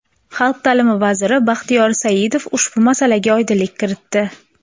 Xalq ta’lim vaziri Baxtiyor Saidov ushbu masalaga oydinlik kiritdi.